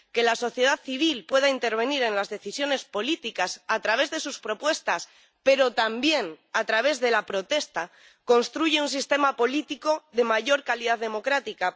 Que la sociedad civil pueda intervenir en las decisiones políticas a través de sus propuestas, pero también a través de la protesta, construye un sistema político de mayor calidad democrática.